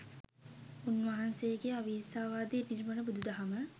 උන්වහන්සේගේ අවිහිංසාවාදී නිර්මල බුදු දහම